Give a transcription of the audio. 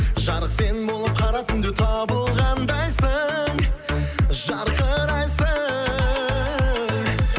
жарық сен болып қара түнде табылғандайсың жарқырайсың